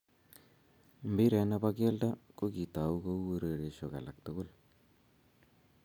Mpiret ne bo kelto ko kitou kouu urerioshe alak tugul